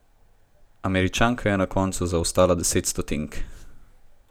Američanka je na koncu zaostala deset stotink.